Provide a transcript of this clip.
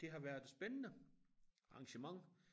Det har været et spændende arrangement